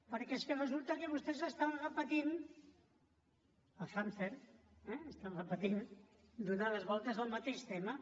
perquè és que resulta que vostès estan repetint el hàmster eh donant les voltes al mateix tema